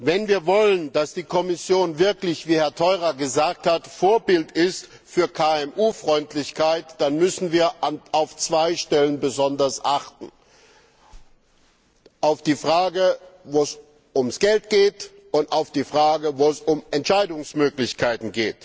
Wenn wir wollen, dass die Kommission wirklich wie Herr Theurer gesagt hat Vorbild ist für KMU Freundlichkeit, dann müssen wir auf zwei Stellen besonders achten Auf die Frage nach dem Geld und auf die Frage nach den Entscheidungsmöglichkeiten.